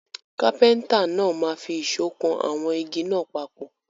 Kápẹ́ńtà náà máa fi ìṣọ́ kan àwọn igi náà papọ̀.